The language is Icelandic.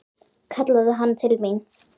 kallaði hann til mín.